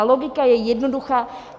A logika je jednoduchá.